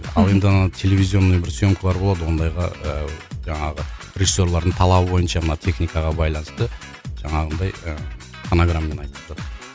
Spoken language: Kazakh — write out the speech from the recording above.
ал енді ана телевизионный бір съемкалар болады ондайға ыыы жаңағы режиссерлардың талабы бойынша мына техникаға байланысты жаңағындай ыыы фонограммамен айтып тұрады